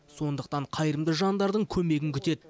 сондықтан қайырымды жандардың көмегін күтеді